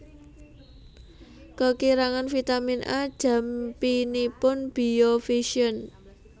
Kekirangan vitamin A jampinipun biovision